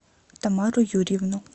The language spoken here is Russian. тамару юрьевну